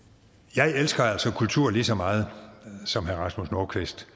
jeg elsker altså kultur lige så meget som herre rasmus nordqvist